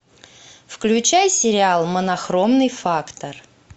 включай сериал монохромный фактор